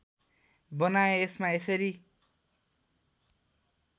बनाएँ यसमा यसरी